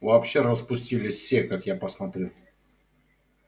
вообще распустились все как я посмотрю